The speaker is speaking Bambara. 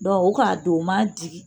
Dɔn o k'a don o ma digi